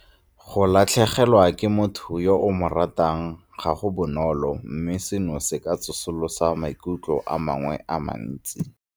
Go latlhegelwa ke motho yo o mo ratang ga go bonolo mme seno se ka tsosolosa maikutlo a mangwe a mantsi.